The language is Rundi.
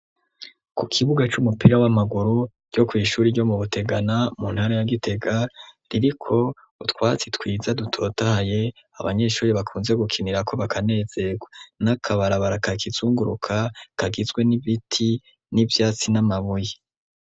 Ku kibuga c'umupira w'amaguru ryo ku ishuri ryo mu butegana mu ntara ya gitega ririko utwatsi twiza dutotaye. Abanyeshuri bakunze gukinira ko bakanezegwa n'akabarabara kakizunguruka kagizwe n'ibiti n'ivyatsi n'amabuye.